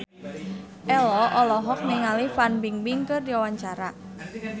Ello olohok ningali Fan Bingbing keur diwawancara